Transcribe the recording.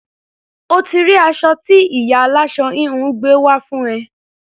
O ti rí aṣọ tí ìyá aláṣọ-híhun gbé wá fún ẹ.